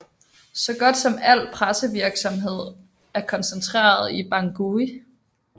Så godt som al pressevirksamhed er koncentreret til Bangui